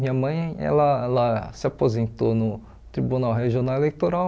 Minha mãe ela ela se aposentou no Tribunal Regional Eleitoral,